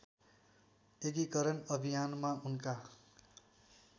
एकीकरण अभियानमा उनका